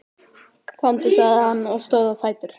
Komdu, sagði hann og stóð á fætur.